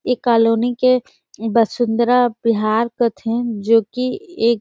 ए colony के वसुन्धरा विहार काथे जो की एक --